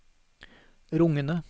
rungende